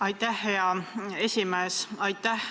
Aitäh, hea esimees!